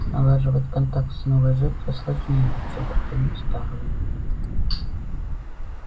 налаживать контакт с новой жертвой сложнее чем притянуть старую